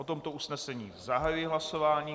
O tomto usnesení zahajuji hlasování.